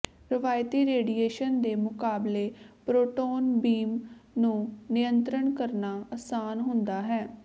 ਰਵਾਇਤੀ ਰੇਡੀਏਸ਼ਨ ਦੇ ਮੁਕਾਬਲੇ ਪ੍ਰੋਟੋਨ ਬੀਮ ਨੂੰ ਨਿਯੰਤ੍ਰਣ ਕਰਨਾ ਅਸਾਨ ਹੁੰਦਾ ਹੈ